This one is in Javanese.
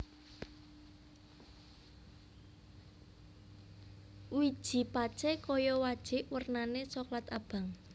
Wiji pacé kaya wajik wernané soklat abang